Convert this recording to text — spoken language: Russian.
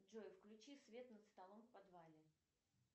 джой включи свет над столом в подвале